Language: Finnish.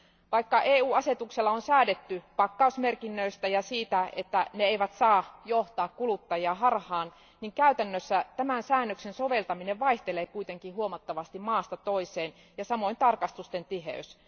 Vaikka EU asetuksella on säädetty pakkausmerkinnöistä ja siitä, että ne eivät saa johtaa kuluttajia harhaan, käytännössä tämän säännöksen soveltaminen vaihtelee kuitenkin huomattavasti maasta toiseen ja samoin tarkastusten tiheys.